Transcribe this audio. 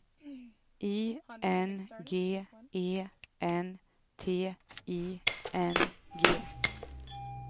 I N G E N T I N G